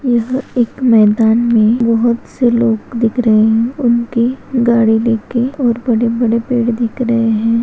यह एक मैदान मे बहुत से लोग दिख रहे है उनके गाड़ी देखे के और बड़े-बड़े पेड़ दिख रहे हैं।